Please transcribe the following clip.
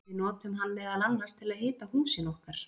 Við notum hann meðal annars til að hita húsin okkar!